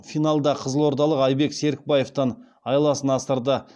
финалда қызылордалық айбек серікбаевтан айласын асырды